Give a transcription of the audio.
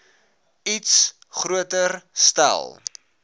iets groter stel